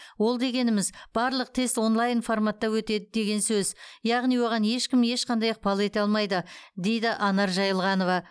ол дегеніміз барлық тест онлайн форматта өтеді деген сөз яғни оған ешкім ешқандай ықпал ете алмайды дейді анар жаилғанова